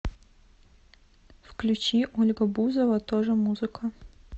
включи ольга бузова тоже музыка